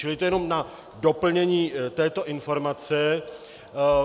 Čili to jen na doplnění této informace.